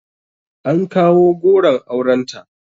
An kawo goron aurenta